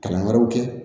Kalan wɛrɛw kɛ